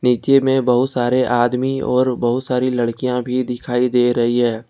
नीचे में बहुत सारे आदमी और बहुत सारी लड़कियां भी दिखाई दे रही है।